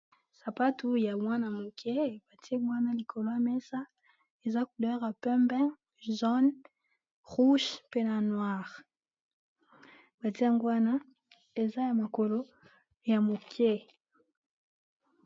sapatu ya mwana-moke batiango wana likolo ya mesa eza kodera pembe zone rouge mpe na noire batiango wana eza ya makolo ya moke